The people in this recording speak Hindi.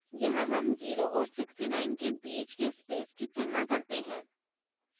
यहाँ हम 0 और 69 के बीच के space की तुलना करते हैं